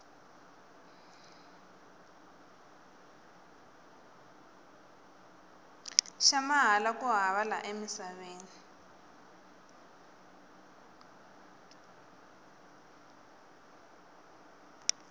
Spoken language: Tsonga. xa mahala ku hava la emisaveni